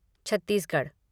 Chhattisgarh